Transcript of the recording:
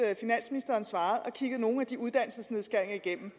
finansministeren svarede at kigge nogle af de uddannelsesnedskæringer igennem